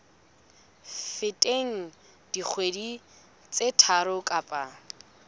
feteng dikgwedi tse tharo kapa